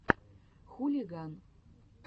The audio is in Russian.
хулиган